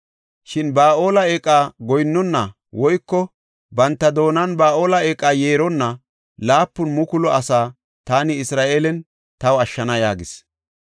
Shin Ba7aale eeqa goyinnona woyko banta doonan Ba7aale eeqa yeeronna 7,000 asaa taani Isra7eelen taw ashshana” yaagis.